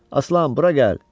Aslan, bura gəl!